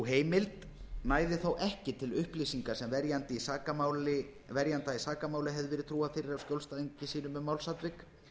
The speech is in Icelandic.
heimild næði þó ekki til upplýsinga sem verjanda í sakamáli hefði verið trúað fyrir af skjólstæðingi sínum um málsatvik